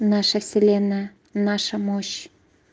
наша вселенная наша мощь